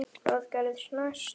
Hvað gerist næst?